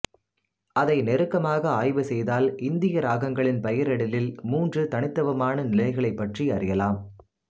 அதை நெருக்கமாக ஆய்வு செய்தால் இந்திய இராகங்களின் பெயரிடலில் மூன்று தனித்துவமான நிலைகளைப் பற்றி அறியலம்